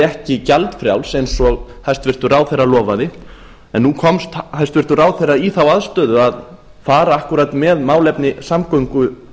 ekki gjaldfrjáls eins og hæstvirtur ráðherra lofaði en nú komst hæstvirtur ráðherra í þá aðstöðu að fara akkúrat með málefni samgöngumála